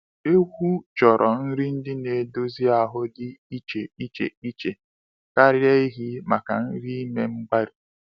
Ewu chọrọ nri ndị na-edozi ahụ dị iche iche iche karịa ehi maka nri ime mgbari